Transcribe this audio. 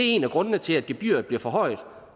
en af grundene til at gebyret bliver forhøjet